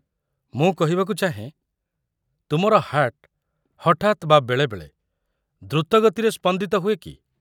ମୁଁ କହିବାକୁ ଚାହେଁ, ତୁମର ହାର୍ଟ ହଠାତ୍ ବା ବେଳେବେଳେ ଦ୍ରୁତ ଗତିରେ ସ୍ପନ୍ଦିତ ହୁଏ କି?